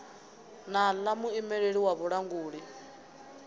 na ḽa muimeleli wa vhulanguli